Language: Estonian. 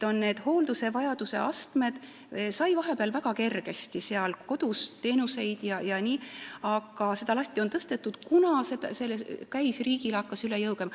Vahepeal sai seal väga kergesti kodus teenuseid, aga seda latti on tõstetud, kuna see hakkas riigile üle jõu käima.